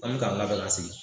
An bi k'an labɛn ka sigi